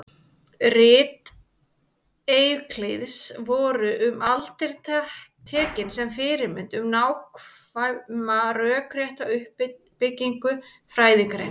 Rit Evklíðs voru um aldir tekin sem fyrirmynd um nákvæma rökrétta uppbyggingu fræðigreinar.